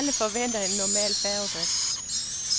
Alle forventer en normal færgedrift.